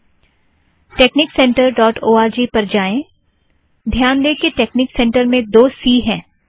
texniccentreओआरजी texnic center dot O R G पर जाएं - ध्यान दें कि टेकनिक सेंटर में दो सी हैं